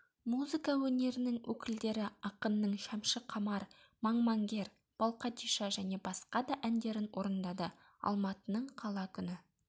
музыка өнерінің өкілдері ақынның шәмшіқамар маңмаңгер балқадиша және басқа да әндерін орындады алматының қала күні